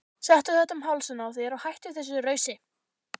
Settu þetta um hálsinn á þér og hættu þessu rausi!